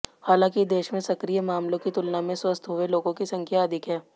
हालांकि देश में सक्रिय मामलों की तुलना में स्वस्थ्य हुए लोगों की संख्या अधिक है